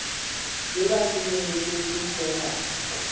le ba senyehetsweng ke tsonad